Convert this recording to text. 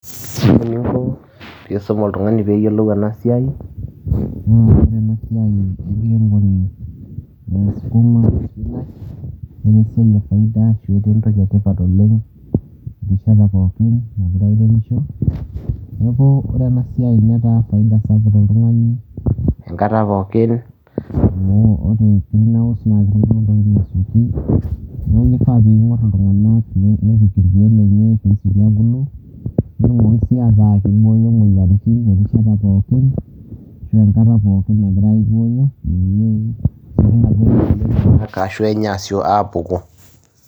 ore eninko pee isum oltungani pee eyiolou enasiai enkiremore, esukuma netaa esiai efaida, etaa entoki etipat oleng'neeku ore enaisiai netaa faida to oltungani enkata pooki, amu ore kifaa pee ing'or iltunganak pee ebulu netumoki sii aku kiboyo imoyiaritin, erishata pooki ashu enkata pooki peyie esioki aapuku.